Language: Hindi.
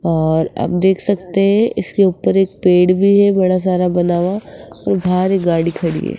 और आप देख सकते हैं इसके ऊपर एक पेड़ भी है बड़ा सारा बना हुआ और बाहर एक गाड़ी खड़ी है।